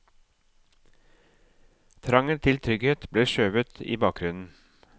Trangen til trygghet ble skjøvet i bakgrunnen.